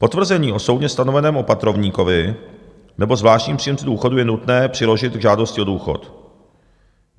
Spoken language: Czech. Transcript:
Potvrzení o soudně stanoveném opatrovníkovi nebo zvláštním příjemci důchodu je nutné přiložit k žádosti o důchod.